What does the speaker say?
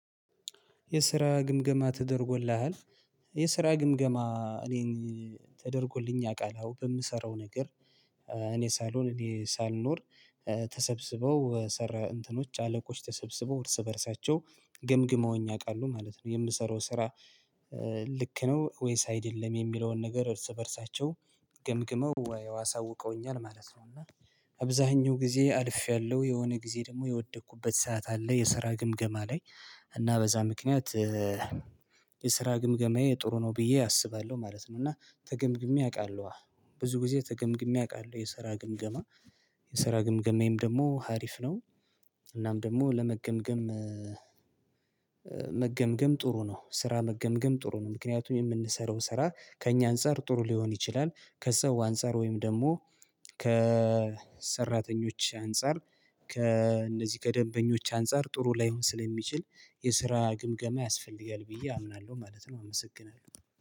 የስራ ግምገማ ተደርጎልሃል። የስራ ግምገማ እኔን ተደርጎልኝ ያውቃል አወ በምሰራው ነገር እኔ ሳልሆን እኔ ሳልኖር ተሰብስበው ሰራ እንትኖች አለቆች ተሰብስበው እርስ በእርሳቸው ግምግመውኝ ያውቃሉ ማለት ነው የምሰራው ስራ። ልክ ነው ወይስ አይደለም የሚለውን ነገር እርስ በእርሳቸው ገምግመው አሳውቀውኛል ማለት ነው። እና አብዛኛው ጊዜ አልፌያለሁ የሆነ ጊዜ ደግሞ የወደኩበት ሰዓት አለ የስራ ግምገማ ላይ እና በዛ ምክንያት የስራ ግምገማዬ ጥሩ ነው ብዬ አስባለሁ ማለት ነው። እና ተገምግሜ አውቃለሁ ብዙ ጊዜ ተገምግሜ አውቃለሁ የሰራ ግምገማ የሰራ ግምገማዬም ደግሞ ሀሪፍ ነው። እናም ደግሞ ለመገምገም መገምገም ጥሩ ነው ስራ መገምገም ጥሩ ነው ምክንያቱም የምንሰራው ስራ ከእኛ አንፃር ጥሩ ሊሆን ይችላል። ከሰው አንፃር ወይም ደግሞ ከሰራተኞች አንፃር ከእነዚህ ከደንበኞች አንፃር ጥሩ ላይሆን ስለሚችል የስራ ግምገማ ያስፈልጋል ብዬ አምናለሁ ማለት ነው። አመሰግናለሁ